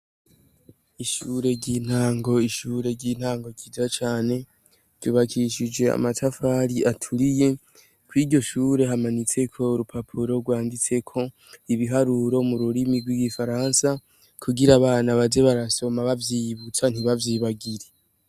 Ishure ry’intango ryiza cane ryubakishijwe amatafari aturiye kw’iryo shure hamanitseko urupapuro rwanditseko ibiharuro mu rurimi rw’igifaransa kugira abana baze barasoma baguma bavyiyibutsa ntibavyibagire.